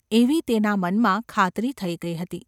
એવી તેના મનમાં ખાતરી થઈ ગઈ હતી.